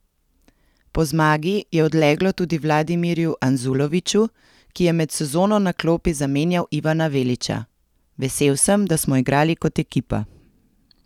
Po zmagi je odleglo tudi Vladimirju Anzuloviću, ki je med sezono na klopi zamenjal Ivana Velića: 'Vesel sem, da smo igrali kot ekipa.